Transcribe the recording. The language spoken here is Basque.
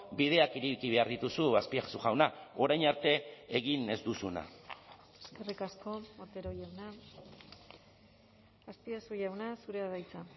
bideak ireki behar dituzu azpiazu jauna orain arte egin ez duzuna eskerrik asko otero jauna azpiazu jauna zurea da hitza